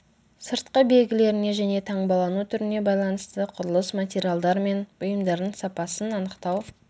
сыртқы белгілеріне және таңбалану түріне байланысты құрылыс материалдар мен бұйымдардың сапасын анықтау